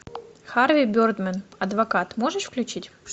харви бердмэн адвокат можешь включить